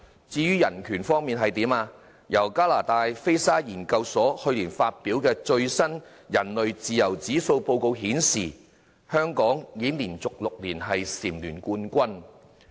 至於人權方面，加拿大菲沙研究所去年發表的最新人類自由指數報告顯示，香港已經連續6年蟬聯冠軍。